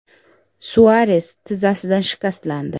Suares tizzasidan shikastlandi.